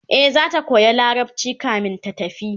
e zata koya larabci kamin ta tafi